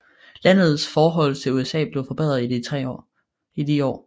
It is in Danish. Landets forhold til USA blev forbedret i de år